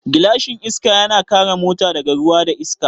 Gilashin Iska yana kare mota daga ruwa da iska